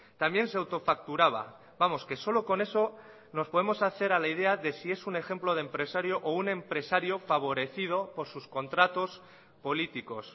también se autofacturaba vamos que solo con eso nos podemos hacer a la idea de si es un ejemplo de empresario o un empresario favorecido por sus contratos políticos